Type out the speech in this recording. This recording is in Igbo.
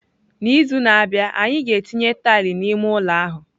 N'izu na-abịa, anyị ga-etinye tile n'ime ụlọ ahụ.